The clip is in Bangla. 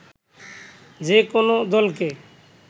যেকোনো দলকে